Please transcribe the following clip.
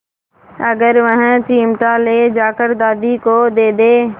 अगर वह चिमटा ले जाकर दादी को दे दे